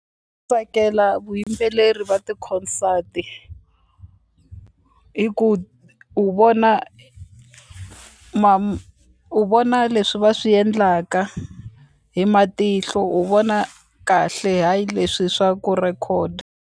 Tsakela vuyimbeleri va ti-concert hi ku u vona u vona leswi va swi endlaka hi matihlo u vona kahle hayi leswi swa ku record.